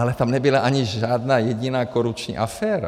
Ale tam nebyla ani žádná jediná korupční aféra.